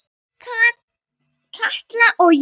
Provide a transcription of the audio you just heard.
Katla og Jón.